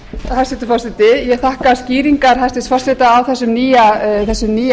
hæstvirtur forseti ég þakka skýringar hæstvirts forseta á þessum nýja